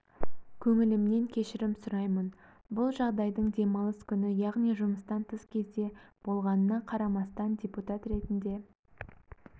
көңіліммен кешірім сұраймын бұл жағдайдың демалыс күні яғни жұмыстан тыс кезде болғанына қарамастан депутат ретінде